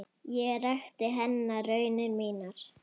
Ég rakti henni raunir mínar.